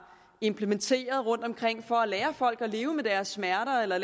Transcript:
implementeret rundtomkring for at lære folk at leve med deres smerter eller